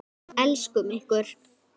Elskum ykkur.